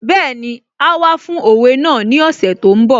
Bẹ́ẹ̀ni, áá wá fún òwe náà ní ọ̀sẹ̀ tó ń bọ̀